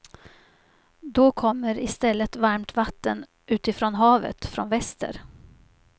Då kommer istället varmt vatten utifrån havet, från väster.